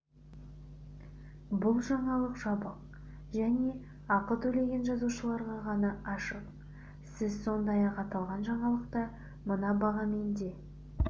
бұл жаңалық жабық және ақы төлеген жазылушыларға ғана ашық сіз сондай-ақ аталған жаңалықты мына бағамен де